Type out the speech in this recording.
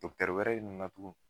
wɛrɛ nana tugun.